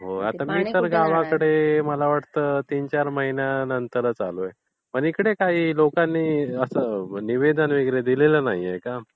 होय. मी तर गावाकडे मला वाटतं तीनचार महिन्यांनी आता आलोय. म्हणजे इकडे काही लोकांनी असं निवेदन वगैरे दिलेलं नाहीये का?